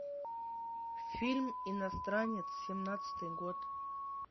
фильм иностранец семнадцатый год